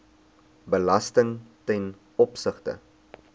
belasting ten opsigte